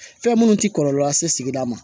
Fɛn minnu tɛ kɔlɔlɔ lase sigida ma